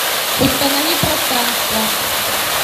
установи пространство